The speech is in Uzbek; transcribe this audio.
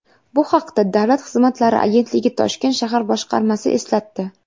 Bu haqda Davlat xizmatlari agentligi Toshkent shahar boshqarmasi eslatdi.